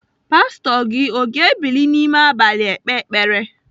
Pastọ gị o ga-ebili n'ime abalị ekpe ekpere?